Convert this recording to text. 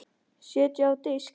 Setjið á disk.